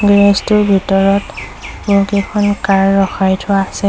Garage টোৰ ভিতৰত বহুকেইখন কাৰ ৰখাই থোৱা আছে।